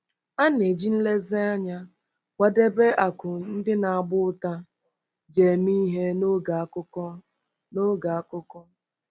A na-eji nlezianya kwadebe akụ ndị na-agba ụta ji eme ihe n'oge akụkọ. n'oge akụkọ.